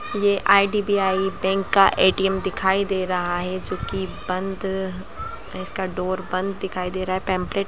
ये IDBI. Bank का ATM. दिखाई दे रहा है जो की बंद इसका डोर बंद दिखाई दे रहा है पेंपलेट --